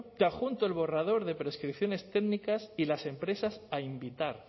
te adjunto el borrador de prescripciones técnicas y las empresas a invitar